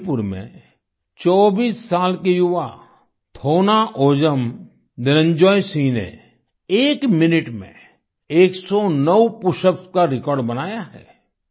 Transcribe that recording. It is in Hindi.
मणिपुर में 24 साल के युवा थौनाओजम निरंजॉय सिंह ने एक मिनट में 109 पशअप्स का रिकॉर्ड बनाया है